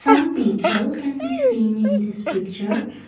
some people can be seen in this picture.